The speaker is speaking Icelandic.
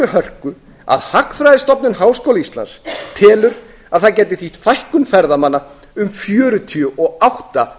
hörku að hagfræðistofnun háskóla íslands telur að það gæti þýtt fækkun ferðamanna um fjörutíu og átta